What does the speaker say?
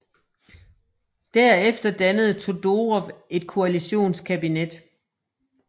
Der efter dannede Todorov et koalitionskabinet